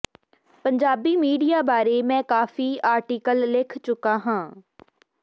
Punjabi media ਬਾਰੇ ਮੈਂ ਕਾਫੀ ਆਰਟੀਕਲ ਲਿਖ ਚੁੱਕਾ ਹਾਂ